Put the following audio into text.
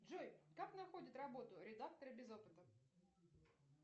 джой как находят работу редакторы без опыта